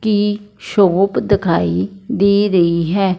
की शॉप दिखाई दे रही है।